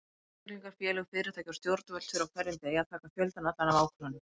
Einstaklingar, félög, fyrirtæki og stjórnvöld þurfa á hverjum degi að taka fjöldann allan af ákvörðunum.